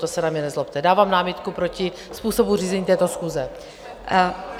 To se na mě nezlobte, dávám námitku proti způsobu řízení této schůze.